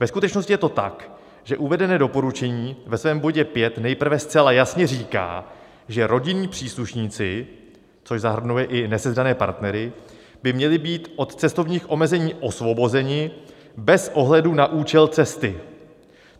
Ve skutečnosti je to tak, že uvedené doporučení ve svém bodě pět nejprve zcela jasně říká, že rodinní příslušníci, což zahrnuje i nesezdané partnery, by měli být od cestovních omezení osvobozeni bez ohledu na účel cesty.